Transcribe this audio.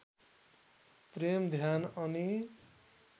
प्रेम ध्यान अनि